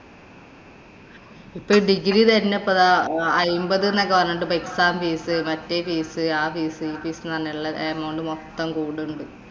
ഇപ്പം degree ഇപ്പം തന്നെ ദാ അയ്മ്പത് എന്നൊക്കെ പറഞ്ഞിട്ട് ഇപ്പൊ exam fees, മറ്റേ fees ആ fees, ഈ fees എന്ന് പറഞ്ഞെല്ലാം amount മൊത്തം കൂടുണ്ട്.